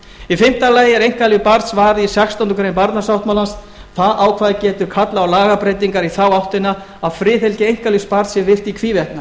í fimmta lagi er einkalíf barns varið í sextándu grein barnasáttmálans það ákvæði getur kallað á lagabreytingar í þá áttina að friðhelgi einkalífs barns sé virt í hvívetna